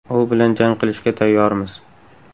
U bilan jang qilishga tayyormiz.